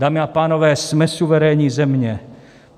Dámy a pánové, jsme suverénní země.